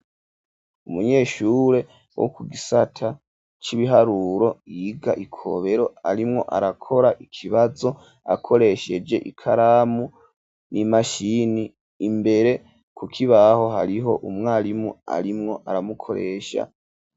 Umunyeshure wo ku gisata c'ibiharuro yiga ikobero arimwo arakora ikibazo akoresheje ikaramu n'imashini imbere kukibaho hariho umwarimu arimwo aramukoresha.